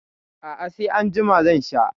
A'a sai anjima zan sha.